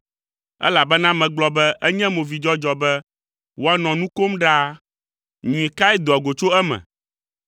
elabena megblɔ be enye movidzɔdzɔ be woanɔ nu kom ɖaa; nyui kae doa go tso eme?